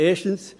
Erstens.